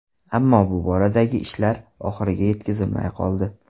Ammo bu boradagi ishlar oxiriga yetkazilmay qoldi.